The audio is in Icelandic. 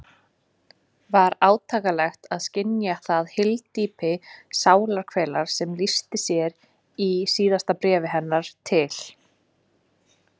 Var átakanlegt að skynja það hyldýpi sálarkvalar sem lýsti sér í síðustu bréfum hennar til